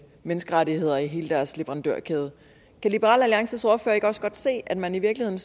menneskerettighederne i hele deres leverandørkæde kan liberal alliances ordfører ikke også godt se at man i virkeligheden